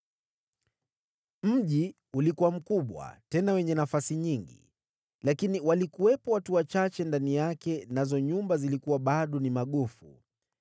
Mji ulikuwa mkubwa, tena wenye nafasi nyingi, lakini walikuwepo watu wachache ndani yake, nazo nyumba zilikuwa bado ni magofu.